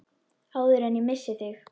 Áður en ég missi þig.